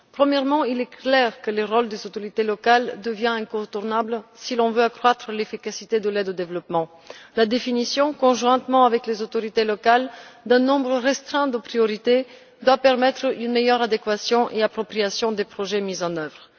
Premièrement, il est clair que le rôle des autorités locales devient incontournable si l'on veut accroître l'efficacité de l'aide au développement. La définition, conjointement avec les autorités locales, d'un nombre restreint de priorités doit permettre une meilleure adéquation et appropriation des projets mis en œuvre.